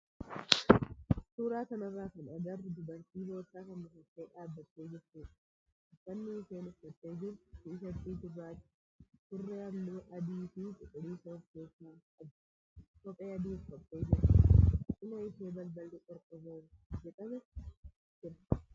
Suuraa kana irratti kan agarru dubartii boorsaa fanniifattee dhaabattee jirtudha. Uffanni isheen uffattee jirtu tisheertii gurraacha, surree halluu adii fi cuquliisa of keessaa qabu, kophee adii uffattee jirti. Cinaa ishee balballi qorqoorroo irraa hojjetame jira.